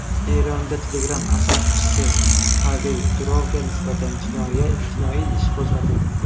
Eronda Telegram asoschisi Pavel Durovga nisbatan jinoiy ish qo‘zg‘atildi.